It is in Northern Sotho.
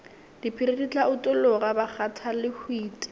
diphiri di tla utologa bakgathalehwiti